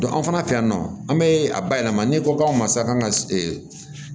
an fana fɛ yan nɔ an bɛ a bayɛlɛma n'i ko k'aw ma sa kan ka